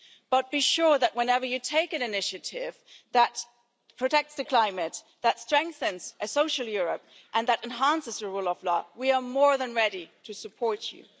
But be sure that, whenever you take an initiative that protects the climate, that strengthens a social Europe and that enhances the rule of law, we are more than ready to support you.